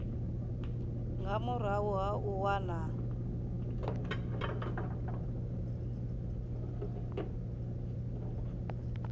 nga murahu ha u wana